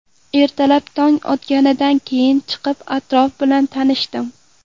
Ertalab tong otganidan keyin chiqib atrof bilan tanishdim.